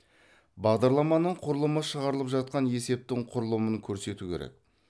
бағдарламаның құрылымы шығарылып жатқан есептің құрылымын көрсету керек